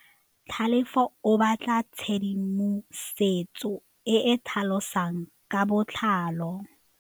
Tlhalefô o batla tshedimosetsô e e tlhalosang ka botlalô.